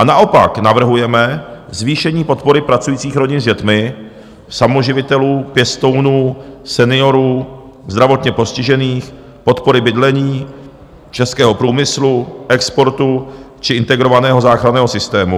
A naopak navrhujeme zvýšení podpory pracujících rodin s dětmi, samoživitelů, pěstounů, seniorů, zdravotně postižených, podpory bydlení, českého průmyslu, exportu či Integrovaného záchranného systému.